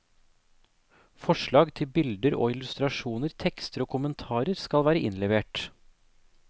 Forslag til bilder og illustrasjoner, tekster og kommentarer skal være innlevert.